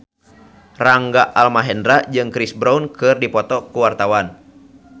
Rangga Almahendra jeung Chris Brown keur dipoto ku wartawan